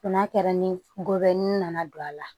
N'a kɛra ni gɔbɔni nana don a la